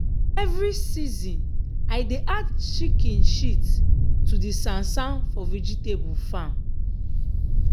every season i dey add chicken shit to di sansan for vegetable farm.